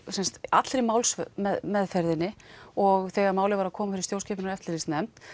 allri málsmeðferðinni og þegar málið var að koma fyrir stjórnskipunar og eftirlitsnefnd